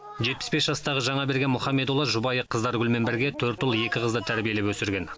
жетпіс бес жастағы жаңаберген мұхамедұлы жұбайы қыздаргүлмен бірге төрт ұл екі қызды тәрбиелеп өсірген